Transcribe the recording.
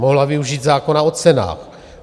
Mohla využít zákona o cenách.